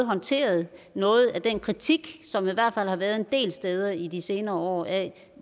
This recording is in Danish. håndteret noget af den kritik som der i hvert fald har været en del steder i de senere år af